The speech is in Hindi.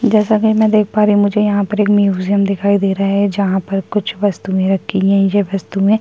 जैसा कि मैं देख पा रही हूँ मुझे यहाँ पर एक म्यूजियम दिखाई दे रहा है जहाँ पर कुछ वस्तुएँ रखी है ये वस्तुएँ --